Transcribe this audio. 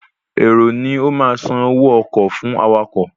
Èrò ni ó ma san owó ọkọ̀ fún awakọ̀